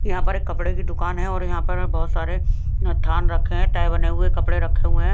यहां पर एक कपड़े की दुकान है और यहां पर बहुत सारे थान रखे हैं टाइ बने हुए कपड़े रखे हुए हैं।